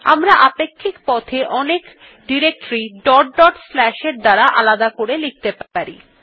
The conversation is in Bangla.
আমরা আপেক্ষিক পথ এ অনেক এর দ্বারা আলাদা করে লিখতে পারি